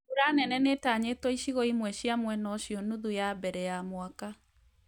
Mbura nene nĩtanyĩtwo icigio imwe cĩa mwena ũcio nuthu ya mbere ya mwaka